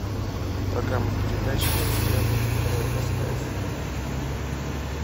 программа передач двадцать девятое ноль второе стс